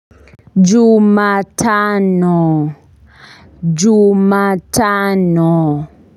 Jumatano. Jumatano.